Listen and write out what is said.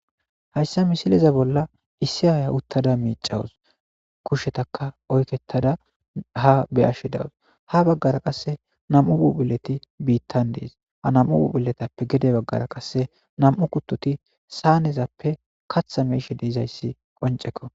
hayssa misiliza bolla issi aaya uttada miicawus kushetaka oykketada ha beyashshe dawus ha baggara qasse nam7u bubhileti biittan dees ha nam7u bubhiletappe gede baggara qasse nam7u kuttoti saanezappe katha meishe deizayssi qoncekko